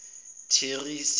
thirase